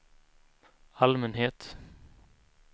allmänhet